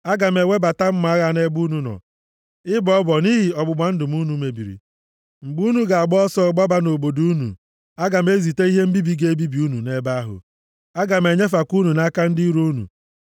Aga m ewebata mma agha nʼebe unu nọ, ịbọ ọbọ nʼihi ọgbụgba ndụ m unu mebiri. Mgbe unu ga-agba ọsọ gbaba nʼobodo unu, aga m ezite ihe mbibi ga-ebibi unu nʼebe ahụ. Aga m enyefekwa unu nʼaka ndị iro unu.